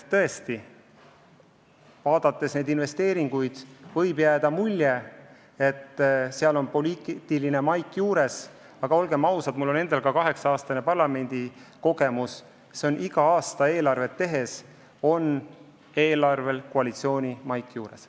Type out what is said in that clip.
Tõesti, vaadates neid investeeringuid, võib jääda mulje, et neil on poliitiline maik juures, aga olgem ausad – mul on endal kaheksa aasta pikkune parlamendikogemus –, iga aasta eelarvet tehes on eelarvel koalitsiooni maik juures.